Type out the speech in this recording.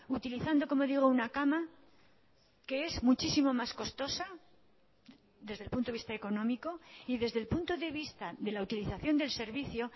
utilizando como digo una cama que es muchísimo más costosa desde el punto de vista económico y desde el punto de vista de la utilización del servicio